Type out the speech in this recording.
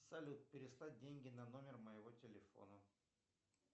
салют переслать деньги на номер моего телефона